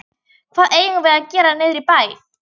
Hvað eigum við að gera niðri í bæ?